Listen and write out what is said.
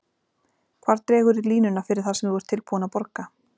Hvar dregurðu línuna fyrir það sem þú ert tilbúinn að borga?